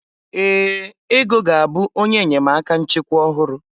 Ee, Ego ga-abụ onye enyemaka nchịkwa ọhụrụ.